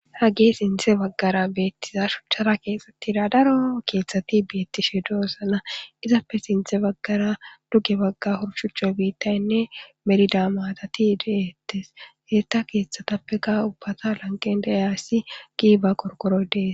hage sinthe baggara beettiza shuchchara keexxxatida daro keeththati beettishe doossana izappe sinthe baggara duge bagga horshuchcho biittaynne merida maatati de7ettes heetta keeththatappeka ubbata lanqen dayaassi giiba korkorodees